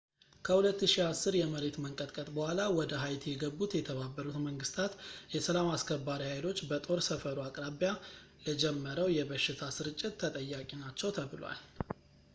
ከ 2010 የመሬት መንቀጥቀጥ በኋላ ወደ ሃይቲ የገቡት የተባበሩት መንግስታት የሰላም አስከባሪ ሃይሎች በጦር ሰፈሩ አቅራቢያ ለጀመረው የበሽታ ስርጭት ተጠያቂ ናቸው ተብሏል